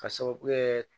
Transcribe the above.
Ka sababu kɛ